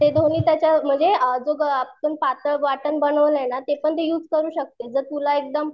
ते दोन्ही त्याच्यावर म्हणजे आ जो काही आपण पातळ वाटण बनवलाय ना ते पण तू युज करू शकतेस जर तुला एकदम